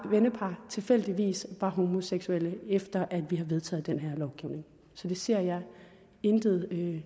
vennepar tilfældigvis var homoseksuelle efter at vi har vedtaget den her lovgivning så det ser jeg intet